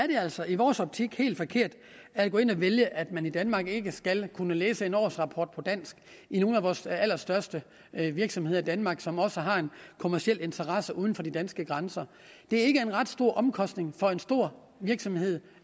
det er altså i vores optik helt forkert at gå ind og vælge at man i danmark ikke skal kunne læse en årsrapport på dansk i nogle af vores allerstørste virksomheder i danmark som også har en kommerciel interesse uden for de danske grænser det er ikke en ret stor omkostning for en stor virksomhed